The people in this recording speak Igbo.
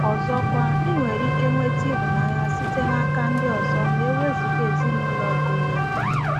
Ọzọkwa, ị nwere ike nweta ịhụnanya site n'aka ndị ọzọ ma e wezụga ezinụlọ goro gị.